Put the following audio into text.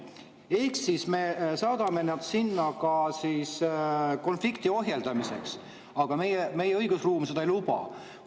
Ehk me saadame nad sinna ka konflikti ohjeldamiseks, aga meie õigusruum seda ei luba.